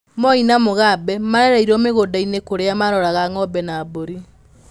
Moi na Mugabe maarereirũo mĩgũnda-inĩ kũrĩa maaroraga ng'ombe na mbũri.